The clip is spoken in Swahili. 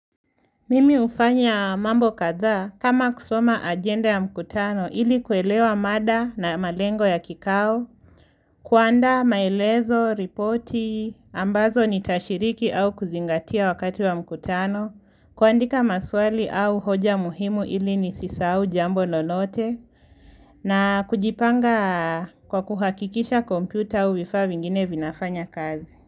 Mimi ufanya mambo kadha kama kusoma agenda ya mkutano ilikuelewa mada na malengo ya kikao, kuanda maelezo, ripoti, ambazo ni tashiriki au kuzingatia wakati wa mkutano, kuandika maswali au hoja muhimu ili nisisahau jambo lolote, na kujipanga kwa kuhakikisha kompyuta u vifaa vingine vinafanya kazi.